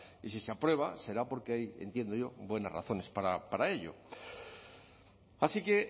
y si se aprueba será porque hay entiendo yo buenas razones para ello así que